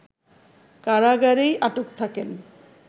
কারাগারেই আটক থাকেন